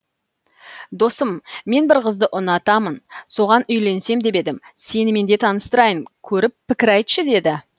досым мен бір қызды ұнатамын соған үйленсем деп едім сенімен де таныстырайын көріп пікір айтшы деді